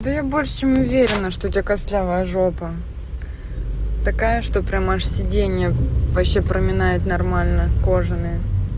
да я больше чем уверена что у тебя костлявая жопа такая что прям аж сиденья вообще проминает нормально кожаные